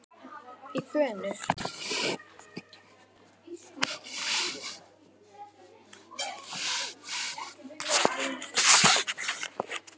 í gönur.